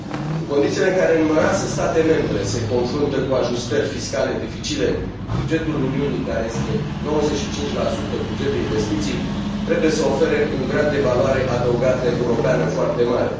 În condițiile în care numeroase state membre se confruntă cu ajustări fiscale dificile bugetul Uniunii, care este 95 buget de investiții, trebuie să ofere un grad de valoare adăugată europeană foarte mare.